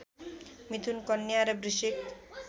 मिथुन कन्या र वृश्चिक